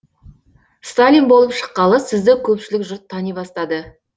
сталин болып шыққалы сізді көпшілік жұрт тани бастады